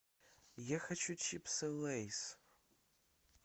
я хочу чипсы лейс